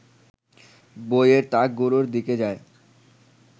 বইয়ের তাকগুলোর দিকে যায়